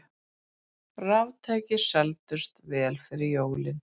Raftæki seldust vel fyrir jólin